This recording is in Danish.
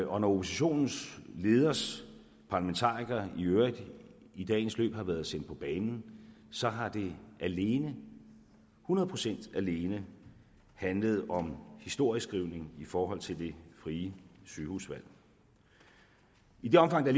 oppositionens leders parlamentarikere i øvrigt i dagens løb har været sendt på banen så har det alene hundrede procent alene handlet om historieskrivning i forhold til det frie sygehusvalg i det omfang der